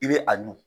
I bɛ a dun